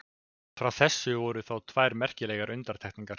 Frá þessu voru þó tvær merkilegar undantekningar.